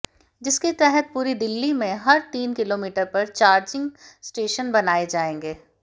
जिसके तहत पूरी दिल्ली में हर तीन किलोमीटर पर चार्जिंग स्टेशन बनाए जाएंगे